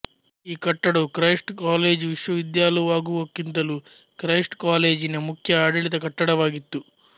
ಈ ಕಟ್ಟಡವು Christ college ವಿಶ್ವವಿದ್ಯಾಲುವಾಗುವಕ್ಕಿಂತಲೂ ಕ್ರೈಸ್ಟ್ ಕಾಲೇಜಿನ ಮುಖ್ಯ ಆಡಳಿತ ಕಟ್ಟಡವಾಗಿತ್ತು